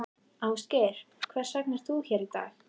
Ásgeir: Hvers vegna ert þú hér í dag?